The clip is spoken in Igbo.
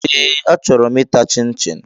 Ee achọrọ m ịta chin-chin